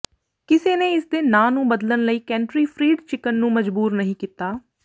ਕਿਸੇ ਨੇ ਇਸ ਦੇ ਨਾਂ ਨੂੰ ਬਦਲਣ ਲਈ ਕੈਂਟਕੀ ਫਰੀਡ ਚਿਕਨ ਨੂੰ ਮਜਬੂਰ ਨਹੀਂ ਕੀਤਾ